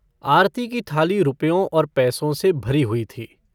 आरती की थाली रुपयों और पैसों से भरी हुई थी।